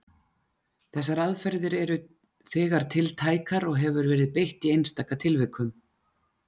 Þessar aðferðir eru þegar tiltækar og hefur verið beitt í einstaka tilvikum.